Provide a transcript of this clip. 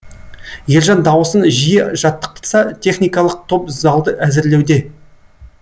ержан дауысын жиі жаттықтырса техникалық топ залды әзірлеуде